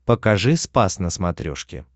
покажи спас на смотрешке